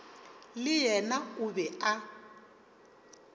le yena o be a